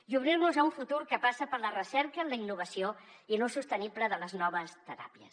i obrir nos a un futur que passa per la recerca en la innovació i l’ús sostenible de les noves teràpies